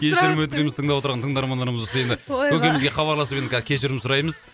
кешірім өтінеміз тыңдап отырған тыңдармандарымыз болса енді көкемізге хабарласып енді кешірім сұраймыз